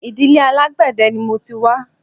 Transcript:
Ìdílé alágbẹ̀dẹ ni mo ti wá